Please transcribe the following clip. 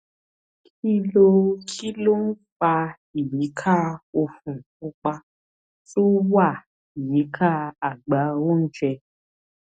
kí ló kí ló ń fa ìyíká òfun pupa tó wà yíká àgbá oúnjẹ